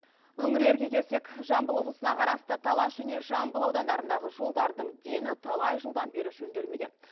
өңірлерге келсек жамбыл облысына қарасты талас және жамбыл аудандарындағы жолдардың дені талай жылдан бері жөнделмеген